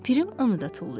Pirim onu da tullayır.